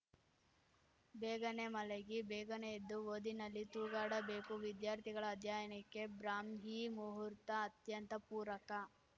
ಬೇಗನೇ ಮಲಗಿ ಬೇಗನೆ ಎದ್ದು ಓದಿನಲ್ಲಿ ತೂಗಾಡಬೇಕು ವಿದ್ಯಾರ್ಥಿಗಳ ಅಧ್ಯಯನಕ್ಕೆ ಬ್ರಾಹ್ಮೀ ಮುಹೂರ್ತ ಅತ್ಯಂತ ಪೂರಕ